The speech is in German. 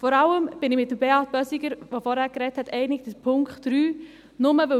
Vor allem bin ich mit Beat Bösiger, der vorhin gesprochen hat, in Bezug auf Punkt 3 einig.